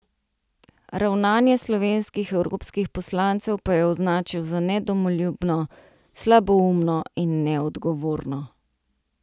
Ravnanje slovenskih evropskih poslancev pa je označil za nedomoljubno, slaboumno in neodgovorno.